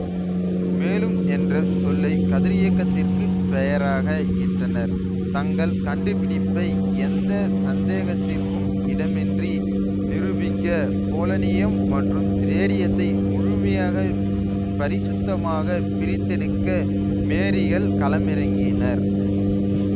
மேலும் என்ற சொல்லை கதிரியக்கத்திற்கு பெயராக இட்டனர் தங்கள் கண்டுபிடிப்பை எந்த சந்தேகத்திற்கும் இடமின்றி நிரூபிக்க போலனியம் மற்றும் ரேடியத்தை முழுமையாக பரிசுத்தமாக பிரித்தெடுக்க மேரீகள் களமிறங்கினர்